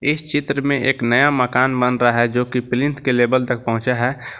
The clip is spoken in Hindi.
इस चित्र में एक नया मकान बन रहा है जोकि के लेवल तक पहुंचे हैं।